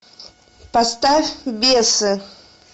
поставь бесы